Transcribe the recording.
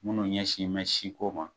Munnu ɲɛsin bɛ siko ma.